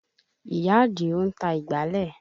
Ìyá Àdìó ń ta ìgbálẹ̀